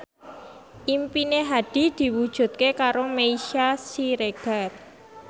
impine Hadi diwujudke karo Meisya Siregar